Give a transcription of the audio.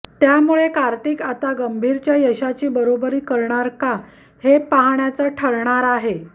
त्यामुळे कार्तिक आता गंभीरच्या यशाची बरोबरी करणार का हे पाहण्याचं ठरणार आहे